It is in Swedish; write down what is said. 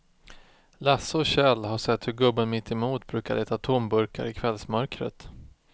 Lasse och Kjell har sett hur gubben mittemot brukar leta tomburkar i kvällsmörkret.